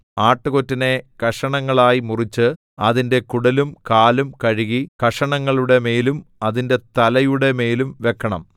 ആട്ടുകൊറ്റനെ കഷണങ്ങളായി മുറിച്ച് അതിന്റെ കുടലും കാലും കഴുകി കഷണങ്ങളുടെ മേലും അതിന്റെ തലയുടെ മേലും വെക്കണം